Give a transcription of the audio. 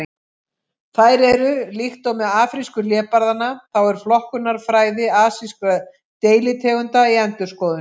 Þær eru: Líkt og með afrísku hlébarðanna þá er flokkunarfræði asískra deilitegunda í endurskoðun.